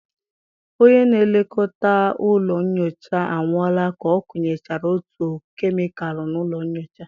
Onye na-elekọta ụlọ nyocha anwụọla ka ọ kunyechara otu kemịkalụ n'ụlọ nyocha.